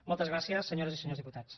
moltes gràcies senyores i senyors diputats